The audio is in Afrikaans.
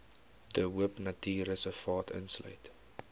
de hoopnatuurreservaat insluit